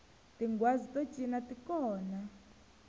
tinghwazi to cina ti kona